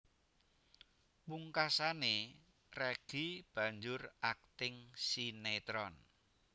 Pungkasané Reggy banjur akting sinétron